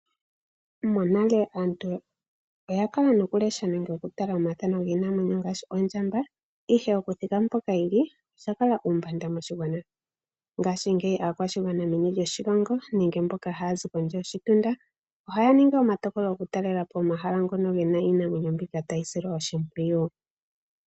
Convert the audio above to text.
Monale aantu oya kala no ku lesha nenge okutala omathano giinamwenyo ngaashi ondjamba, ihe okuthika mpoka yi li osha kala uumbanda moshigwana. Ngashingeyi aakwashigwana meni loshilongo nenge mboka haya zi kondje yoshitunda ohaya ningi omatokolo, okutalela po omahala ngono gena iinamwenyo mbika tayi silwa oshimpwiyu.